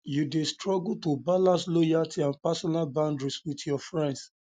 you dey struggle to balance loyalty and personal boundaries with your friends